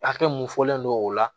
Hakɛ mun fɔlen don o la